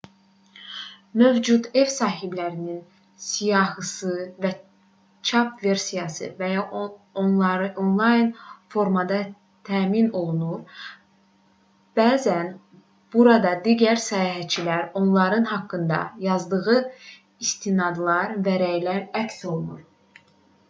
mövcud ev sahiblərinin siyahısı çap versiyada və ya onlayn formada təmin olunur bəzən burada digər səyahətçilərin onların haqqında yazdığı istinadlar və rəylər əks olunur